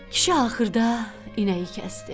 Kişi axırda inəyi kəsdi.